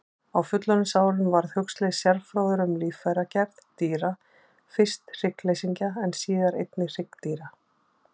Á fullorðinsárum varð Huxley sérfróður um líffæragerð dýra, fyrst hryggleysingja en síðar einnig hryggdýra.